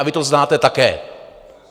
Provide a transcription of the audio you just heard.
A vy to znáte také.